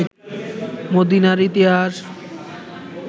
মদিনার ইতিহাস